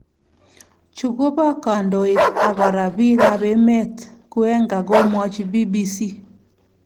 Chu ko pa kandoik ak kora pik ap emet ,"Kuhenga komwachibBBC